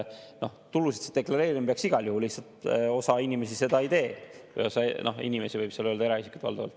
Tulusid deklareerima peab igal juhul, lihtsalt osa inimesi seda ei tee, võib öelda, et valdavalt eraisikud.